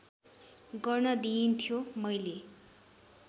गर्न दिइन्थ्यो मैले